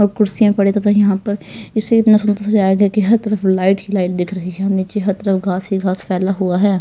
और कुर्सियां पड़े तथा यहां पर इससे इतना सुंदर जाएगा कि हर तरफ लाइट ही लाइट दिख रही है नीचे हर तरफ घास ही घास फैला हुआ है.